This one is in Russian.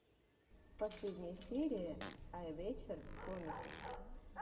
последняя серия айвэчер комикс